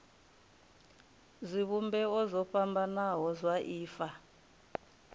zwivhumbeo zwo fhambanaho zwa ifa